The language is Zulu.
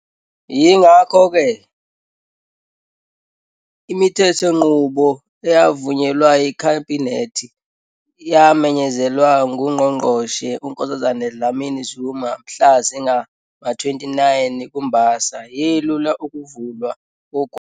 Yingakho-ke, imithethonqubo eyavunyelwa yiKhabhinethi neyamenyezelwa nguNgqongqoshe uNkosazana Dlamini-Zuma mhla zingama-29 kuMbasa yelula ukuvalwa kogwayi.